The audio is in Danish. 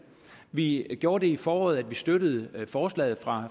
vi gjorde i foråret det at vi støttede forslaget fra